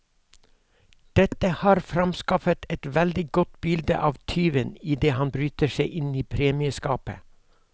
Dette har framskaffet et veldig godt bilde av tyven idet han bryter seg inn i premieskapet.